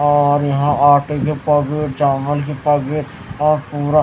और यहां आटे के पैकेट चावल के पैकेट और पूरा--